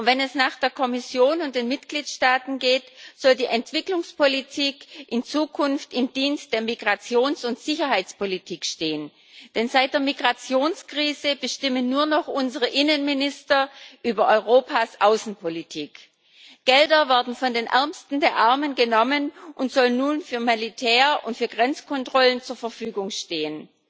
Und wenn es nach der Kommission und den Mitgliedstaaten geht, soll die Entwicklungspolitik in Zukunft im Dienst der Migrations und Sicherheitspolitik stehen, denn seit der Migrationskrise bestimmen nur noch unsere Innenminister über Europas Außenpolitik. Gelder werden von den Ärmsten der Armen genommen und sollen nun für Militär und für Grenzkontrollen zur Verfügung stehen.